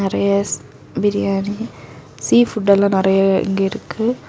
நெறைய biryani seafood எல்லா நெறைய இங்க இருக்கு.